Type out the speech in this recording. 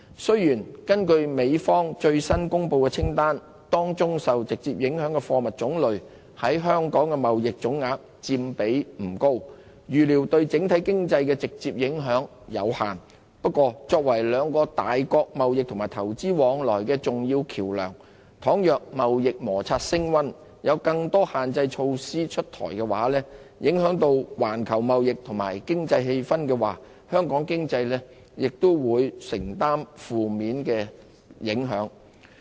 雖然，根據美方最新公布的清單，當中受直接影響的貨物種類在香港的貿易總額佔比不高，預料對整體經濟的直接影響有限。不過，香港作為兩個大國貿易及投資往來的重要橋樑，倘若貿易摩擦升溫，有更多限制措施出台，影響到環球貿易及經濟氣氛的話，香港經濟也會承受負面影響。